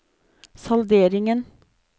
salderingen